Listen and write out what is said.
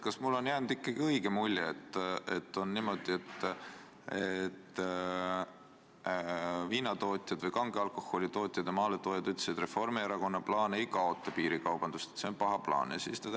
Kas mulle on jäänud õige mulje, et on niimoodi, et viinatootjad, kange alkoholi tootjad ja maaletoojad ütlesid, et Reformierakonna plaan ei kaota piirikaubandust, et see on paha plaan?